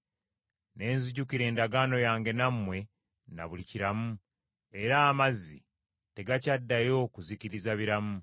ne nzijukira endagaano yange nammwe na buli kiramu; era amazzi tegakyaddayo kuzikiriza biramu.